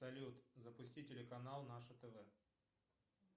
салют запусти телеканал наше тв